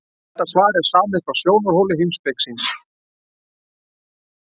Þetta svar er samið frá sjónarhóli heimspekings.